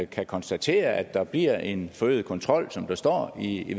kan konstatere at der bliver en forøget kontrol som der står i